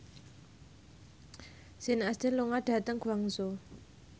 Sean Astin lunga dhateng Guangzhou